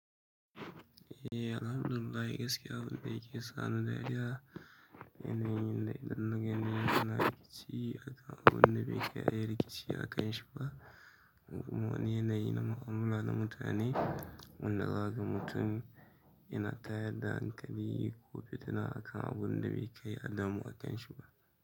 Eh, Alhamdulillah gaskiya abunda yake sani dariya idan nagani abunda ake rikici bai kai abunda bai kai ayi rikici akan ci ba kaman woni yanayi na mutane wanda akan mutum yana tayar da hankali ko fitina akan abunda bai kai adamu da ci ba.